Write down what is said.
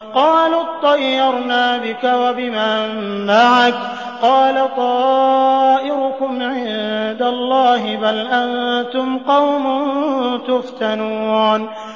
قَالُوا اطَّيَّرْنَا بِكَ وَبِمَن مَّعَكَ ۚ قَالَ طَائِرُكُمْ عِندَ اللَّهِ ۖ بَلْ أَنتُمْ قَوْمٌ تُفْتَنُونَ